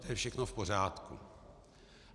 To je všechno v pořádku.